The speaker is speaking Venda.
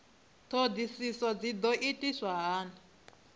ṱhoḓisio dzi ḓo itiswa hani